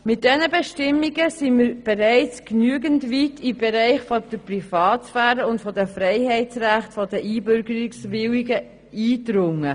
Mit diesen Bestimmungen sind wir bereits genügend weit in den Bereich der Privatsphäre und der Freiheitsrechte der Einbürgerungswilligen eingedrungen.